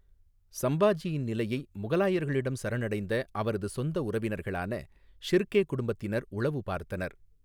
சம்பாஜியின் நிலையை முகலாயர்களிடம் சரணடைந்த அவரது சொந்த உறவினர்களான ஷிர்கே குடும்பத்தினர் உளவு பார்த்தனர்.